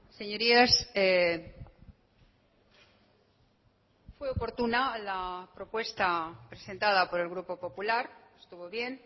señorías fue oportuna la propuesta presentada por el grupo popular estuvo bien